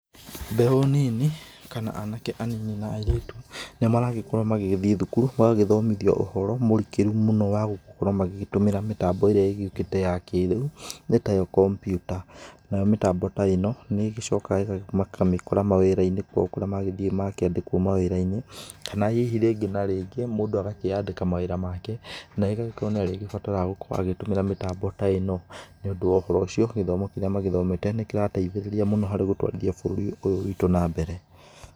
Mbeũ nini kana anake anini na airĩtu nĩmaragĩkorwo magĩgĩthiĩ thukuru magagĩthomithio ũhoro mũrikĩru mũno wa gũkorwo magĩgĩtũmĩra mĩtambo ĩrĩa ĩgĩũkĩte ya kĩrĩu, nĩ tayo kompyuta. Nayo mĩtambo ta ĩno nĩĩgĩcokaga makamĩkora mawĩra-inĩ kũrĩa magĩthiĩ makandĩkwo mawĩra-inĩ, kana hihi rĩngĩ na rĩngĩ mũndu agakĩandĩka mawĩra maake na agagĩkorwo nĩ arĩgĩbatara gũkorwo akĩhũthĩra mĩtambo ta ĩno. Nĩ ũndũ wa ũhoro ũcio, gĩthomo gĩkĩ magĩthomete nĩ kĩragĩteithĩrĩria gũtwarithia bũrũri ũyũ witũ na mbere.